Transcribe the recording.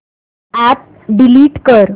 app delete कर